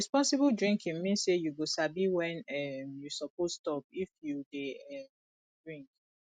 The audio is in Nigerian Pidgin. responsible drinking mean say you go sabi when um you suppose stop if you dey um drink